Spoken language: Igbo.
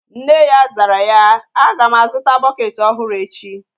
Nne ya zara ya, a ga m a zụta bukeeti ọhụrụ echi